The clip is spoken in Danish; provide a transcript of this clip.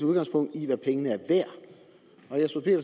udgangspunkt i hvad pengene